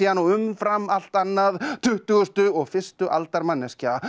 og umfram allt annað tuttugustu og fyrstu aldar manneskja